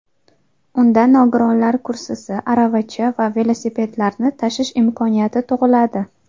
Unda nogironlar kursisi, aravacha va velosipedlarni tashish imkoniyati tug‘iladi.